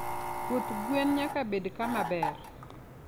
Puoth gwen nyaka bed kama ber.